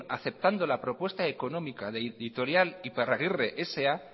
aceptando la propuesta económica de la editorial iparraguirre sa